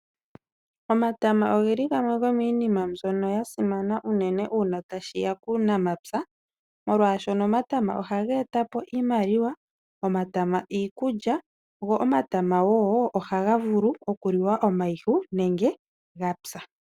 Omatama ogeli gamwe gomiinima ndjono yasimana unene uuna tashiya kuunamapya, molwaashono omatama ohage etapo iimaliwa ,omatama iikulya, go omatama wo ohaga vulu okuliwa omayihu nenge gapya.